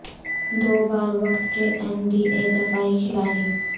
دو بار وقت کے این بی اے دفاعی کھلاڑی